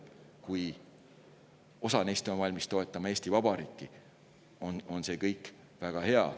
Kui osa neist on valmis toetama Eesti Vabariiki, siis see on väga hea.